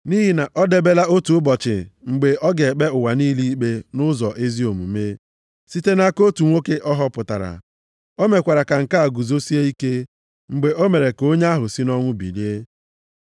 Nʼihi na o debela otu ụbọchị mgbe ọ ga-ekpe ụwa niile ikpe nʼụzọ ezi omume, site nʼaka otu nwoke ọ họpụtara. O mekwara ka nke a guzosie ike, mgbe o mere ka onye ahụ sị nʼọnwụ bilie.”